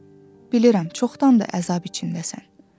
Bilirəm, çoxdandır əzab içindəsən.